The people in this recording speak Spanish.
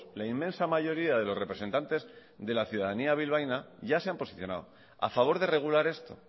la inmensa mayoría de los representantes de la ciudadanía bilbaína ya se han posicionado a favor de regular esto